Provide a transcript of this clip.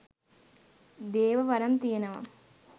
දේව වරම් තියෙනව